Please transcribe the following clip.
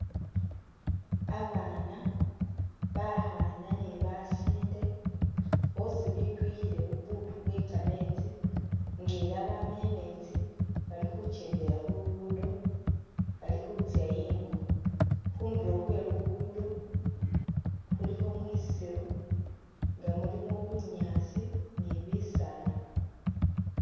Abaana bakhana ni basinde bosi bitwikhile bu buttu bwe kametsi nga ela bama emetsi, bali khuchendela khu lugudo, bali khutsya ingo ,khunduro khwe lugudo khulikho mwisiru nga mulimo bunyaasi ni bisaala